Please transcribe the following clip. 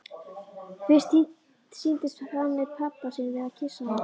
Fyrst sýndist henni pabbi sinn vera að kyssa hana.